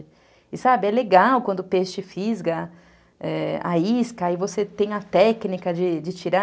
E sabe, é legal quando o peixe fisga é... a isca e você tem a técnica de tirar.